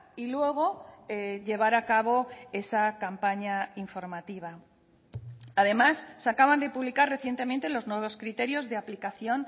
y luego llevar a cabo esa campaña informativa además se acaban de publicar recientemente los nuevos criterios de aplicación